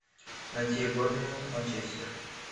найти борнмут манчестер